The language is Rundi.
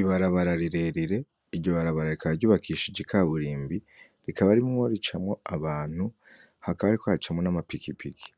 Ibarabara rirerire, iryo barabara rikaba ry'ubakishijwe ikaburimbi rikaba ririmwo ricamwo abantu hakaba hariko hacamwo nama pikipiki